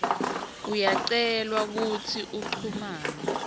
uyacelwa kutsi uchumane